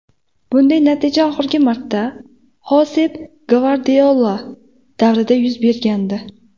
Bunday natija oxirgi marta Xosep Gvardiola davrida yuz bergandi.